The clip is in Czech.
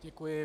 Děkuji.